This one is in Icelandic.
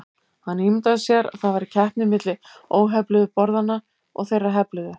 Hann ímyndaði sér að það væri keppni milli óhefluðu borðanna og þeirra hefluðu.